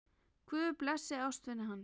Guð blessi ástvini hans.